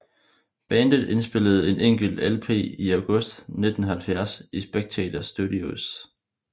Bandet indspillede en enkelt LP i August 1970 i Spectator Studios